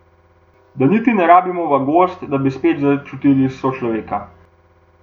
Da niti ne rabimo v gozd, da bi spet začutili sočloveka.